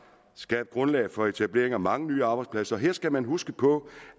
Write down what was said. skabt grundlag for etablering af mange nye arbejdspladser og her skal man huske på